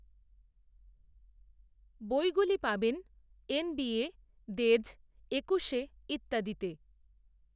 বইগুলি পাবেন N B A, Dey's, Ekushe ইত্যাদিতে